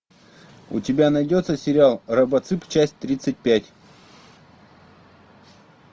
у тебя найдется сериал робоцып часть тридцать пять